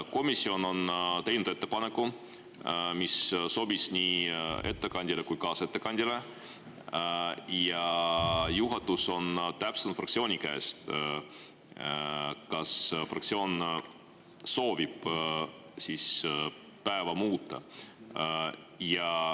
Komisjon on teinud ettepaneku, mis sobis nii ettekandjale kui ka kaasettekandjale, ja juhatus on täpsustanud fraktsiooniga, kas fraktsioon soovib päevakorda muuta.